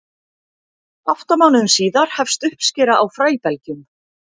átta mánuðum síðar hefst uppskera á fræbelgjunum